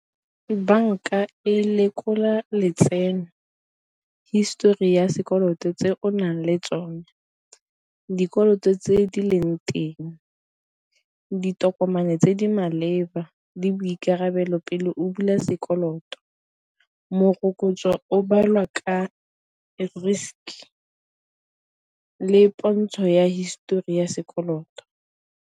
Banka e lekola letseno, histori ya sekoloto tse o nang le tsone, dikoloto tse di leng teng, ditokomane tse di maleba lefa le boikarabelo pele o bula sekoloto, morokotso o balwa ka a risk le pontsho ya histori ya sekoloto.